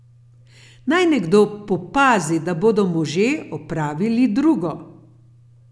Naj nekdo popazi, da bodo možje opravili drugo.